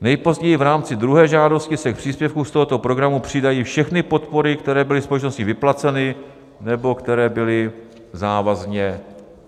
Nejpozději v rámci druhé žádosti se k příspěvku z tohoto programu přidají všechny podpory, které byly společností vyplaceny nebo které byly závazně